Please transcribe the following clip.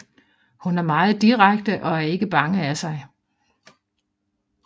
Hun er meget direkte og er ikke bange af sig